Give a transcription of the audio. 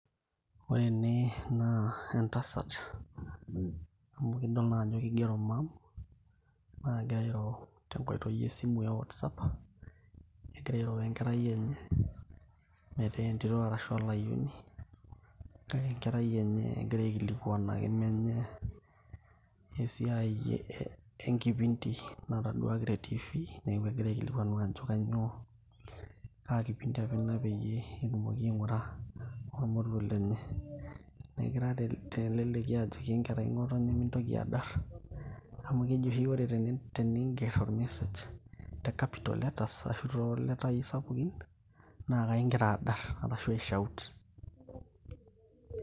ore ene naa entasat amu idol naa ajo kigero mum, nagira airo tenkoitio esimu e whatsapp . egira airo we enkerai enye metaa entito arashu olayioni , kake enkerai enye egira aikilikwanaki menye esiai enkipindi nataduaki te tv , niaku egira aikilikwanu ajo kainyio